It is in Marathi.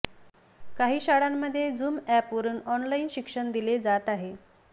काही शाळांमध्ये झुम ऍपवरुन ऑनलाइन शिक्षण दिले जात आहे